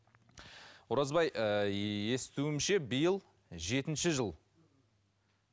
оразбай ыыы естуімше биыл жетінші жыл